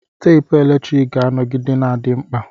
Teepu eletrik ga-anọgide na-adị mkpa.